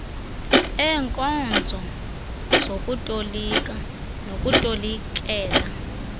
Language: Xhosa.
eenkonzo zokutolika nokutolikela